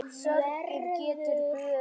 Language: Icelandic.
Sorgin getur bugað og beygt.